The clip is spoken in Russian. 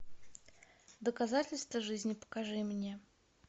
доказательство жизни покажи мне